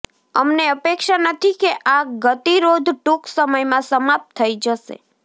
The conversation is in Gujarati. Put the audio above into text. અમને અપેક્ષા નથી કે આ ગતિરોધ ટૂંક સમયમાં સમાપ્ત થઈ જશે